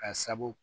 Ka sabu